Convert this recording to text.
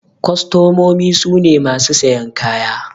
Kwastamomi su ne masu sayan kaya.